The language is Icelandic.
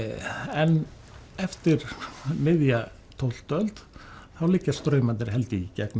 en eftir miðja tólftu öld þá liggja straumarnir held ég í gegnum